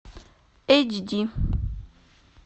эйч ди